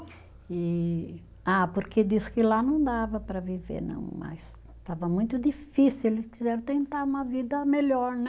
E ah, porque disse que lá não dava para viver não mais, estava muito difícil, eles quiseram tentar uma vida melhor, né?